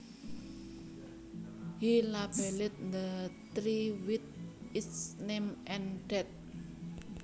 He labelled the tree with its name and date